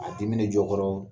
A dimine jɔ kɔrɔɔ